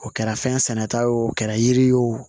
O kɛra fɛn sɛnɛ ta ye o kɛra yiri ye o